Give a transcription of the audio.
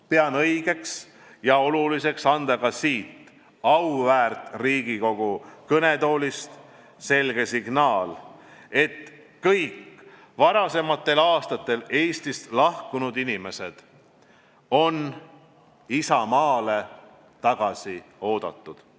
Pean õigeks ja oluliseks anda ka siit auväärt Riigikogu kõnetoolist selge signaal, et kõik varasematel aastatel Eestist lahkunud inimesed on isamaale tagasi oodatud.